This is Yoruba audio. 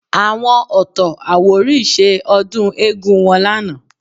Àwọn Ọ̀tọ̀-Àwórì ṣe ọdún eégún wọn lánàá